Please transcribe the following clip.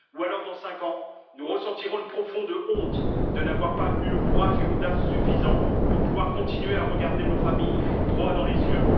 Sinon, dans cinq ans, nous ressentirons une profonde honte de n'avoir pas eu le courage et l'audace suffisants pour pouvoir continuer à regarder nos familles droit dans les yeux.